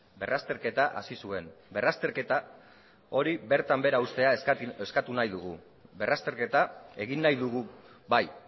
berrazterketa hasi zuen berrazterketa hori bertan behera uztea eskatu nahi dugu berrazterketa egin nahi dugu bai